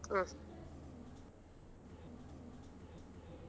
ಹ್ಮ್.